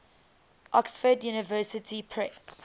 oxford university press